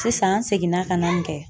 Sisan an seginna ka na ni kɛ